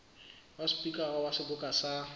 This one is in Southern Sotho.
wa sepikara wa seboka sa